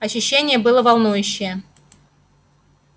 ощущение было волнующее